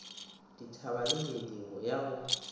dithaba le meedi ya go